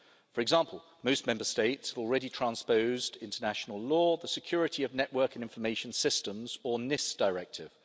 For example, most Member States have already transposed into national law the Security of Network and Information Systems Directive.